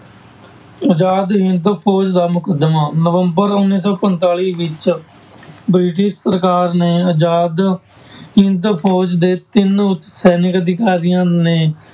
ਆਜ਼ਾਦ ਹਿੰਦ ਫ਼ੋਜ਼ ਦਾ ਮੁਕੱਦਮਾ, ਨਵੰਬਰ ਉੱਨੀ ਸੌ ਪੰਤਾਲੀ ਵਿੱਚ ਬ੍ਰਿਟਿਸ਼ ਸਰਕਾਰ ਨੇ ਆਜ਼ਾਦ ਹਿੰਦ ਫ਼ੋਜ਼ ਦੇ ਤਿੰਨ ਸੈਨਿਕ ਅਧਿਕਾਰੀਆਂ ਨੇ